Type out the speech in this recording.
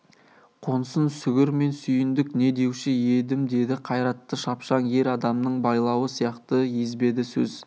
қонсын сүгір мен сүйіндік не деуші едім деді қайратты шапшаң ер адамның байлауы сияқты езбеді сөз